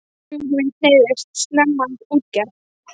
Hugur minn hneigðist snemma að útgerð.